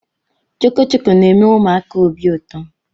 Chọkọchọkọ na-eme ụmụaka obi ụtọ